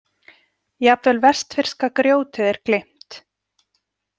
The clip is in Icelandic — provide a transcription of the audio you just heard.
Jafnvel vestfirska grjótið er gleymt.